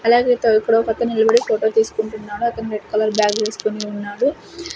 అలాగే తో ఇక్కడ ఒక అతను నిలబడి ఫోటో తీసుకుంటున్నాడు అతను రెడ్ కలర్ బ్యాగ్ వేసుకొని ఉన్నాడు.